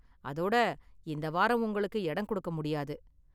அதோட, இந்த வாரம் உங்களுக்கு இடம் கொடுக்க முடியாது.